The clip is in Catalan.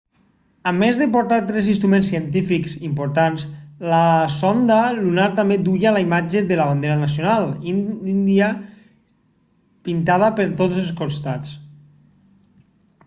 a més de portar tres instruments científics importants la sonda lunar també duia la imatge de la bandera nacional índia pintada per tots els costats